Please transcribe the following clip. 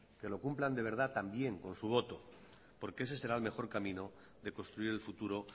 que lo cumplan de verdad también con su voto porque ese será el mejor camino de construir el futuro